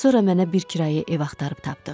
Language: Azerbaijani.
Sonra mənə bir kirayə ev axtarıb tapdıq.